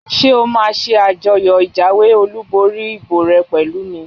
Ṣé o máa ṣe àjọyọ̀ ìjáwé olùborí ìbò rẹ pẹ̀lú mi?